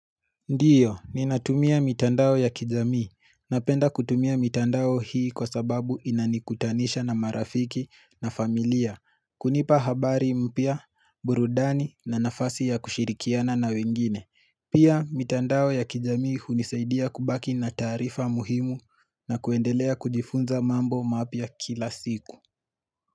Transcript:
Ndiyo, ninatumia mitandao ya kijamii. Napenda kutumia mitandao hii kwa sababu inanikutanisha na marafiki na familia. Kunipa habari mpya, burudani na nafasi ya kushirikiana na wengine. Pia, mitandao ya kijamii hunisaidia kubaki na tarifa muhimu na kuendelea kujifunza mambo mapya kila siku.